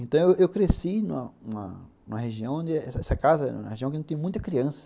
Então eu eu cresci numa numa numa região onde essa casa era uma região que não tinha muita criança.